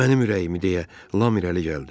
Mənim ürəyimi, deyə lam irəli gəldi.